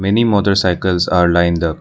Many motorcycles are lined up.